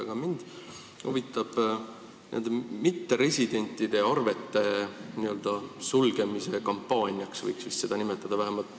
Aga mind huvitab mitteresidentide arvete sulgemise kampaania, kui seda võib nii nimetada.